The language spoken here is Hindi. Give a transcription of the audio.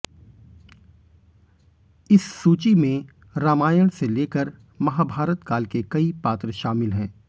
इस सूची में रामायण से लेकर महाभारत काल के कई पात्र शामिल हैं